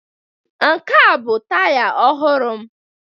Nke a bụ taya ọhụrụ m